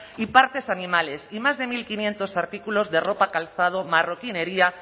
y partes animales y más de mil quinientos artículos de ropa calzado marroquinería